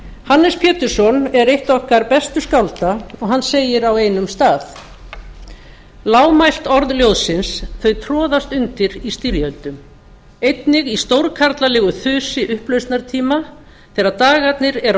hannes pétursson er eitt okkar bestu skálda og hann segir á einum stað lágmælt orð ljóðsins þau troðast undir í styrjöldum einnig í stórkarlalegu þusi upplausnartíma þegar dagarnir eru á